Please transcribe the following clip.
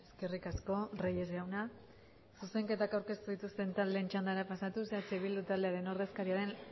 eskerrik asko reyes jauna zuzenketak aurkeztu dituzten taldeen txandara pasatuz eh bildu taldearen ordezkaria den